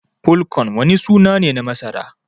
"Pole corn" wani suna ne na masara.